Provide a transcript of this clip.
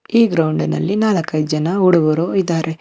ಈ ಗ್ರೌಂಡಿನಲ್ಲಿ ನಾಲ್ಕೈದ್ ಜನ ಹುಡುಗರು ಇದಾರೆ.